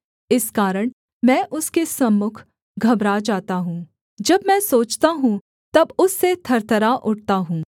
इस कारण मैं उसके सम्मुख घबरा जाता हूँ जब मैं सोचता हूँ तब उससे थरथरा उठता हूँ